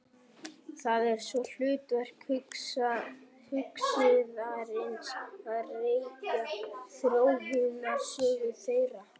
Það er svo hlutverk hugsuðarins að rekja þróunarsögu þeirra.